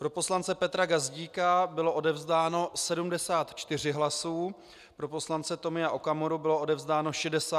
Pro poslance Petra Gazdíka bylo odevzdáno 74 hlasů, pro poslance Tomia Okamuru bylo odevzdáno 67 hlasů.